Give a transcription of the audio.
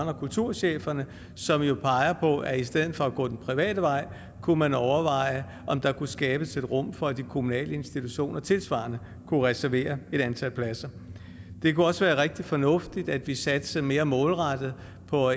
og kulturcheferne som jo peger på at i stedet for at gå den private vej kunne man overveje om der kunne skabes et rum for at de kommunale institutioner tilsvarende kunne reservere et antal pladser det kunne også være rigtig fornuftigt at vi satsede mere målrettet på